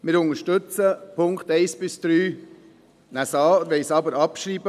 Wir unterstützen die Punkte 1–3, nehmen sie an und wollen sie auch abschreiben.